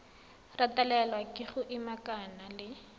retelelwa ke go ikamanya le